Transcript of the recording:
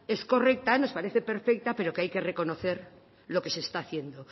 es correcta nos parece perfecta pero que hay que reconocer lo que se está haciendo